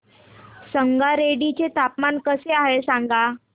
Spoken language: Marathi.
संगारेड्डी चे हवामान कसे आहे सांगा